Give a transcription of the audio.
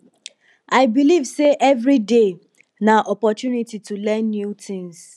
i believe sey everyday na opportunity to learn new tins